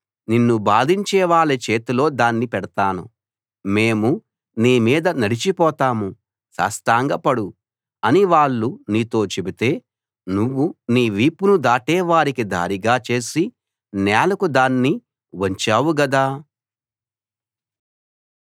నిన్ను బాధించేవాళ్ళ చేతిలో దాన్ని పెడతాను మేము నీ మీద నడిచిపోతాం సాష్టాంగ పడు అని వాళ్ళు నీతో చెబితే నువ్వు నీ వీపును దాటే వారికి దారిగా చేసి నేలకు దాన్ని వంచావు గదా